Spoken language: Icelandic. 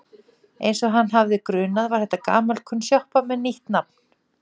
Eins og hann hafði grunað var þetta gamalkunn sjoppa með nýtt nafn.